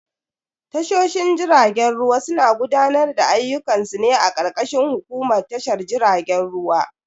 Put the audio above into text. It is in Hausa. Tashoshin jiragen ruwa suna gudanar da ayyukan su ne a karkashin hukumar tashar jiragen ruwa.